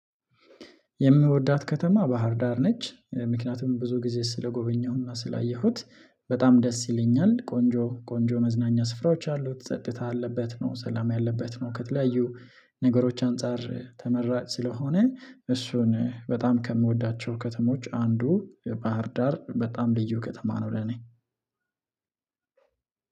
የምወዳት ከተማ ባህር ዳር ነች። ምክንያቱም ብዙ ጊዜ ስለጎበኘሁና ስላየሁት በጣም ደስ ይለኛል ቆንጆ ቆንጆ መዝናኛ ስፍራዎች አሉት ጸጥታ አለበት ነው ሰላም ያለበት ነው። ከተለያዩ ነገሮች አንፃር ተመራጭ ስለሆነ እሱን በጣም ከምወዳቸው ከተሞች አንዱ ባህር ዳር በጣም ልዩ ከተማ ነው ለኔ።